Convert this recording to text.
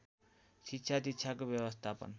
शिक्षा दिक्षाको व्यवस्थापन